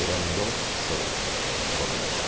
Eram dois shows por noite.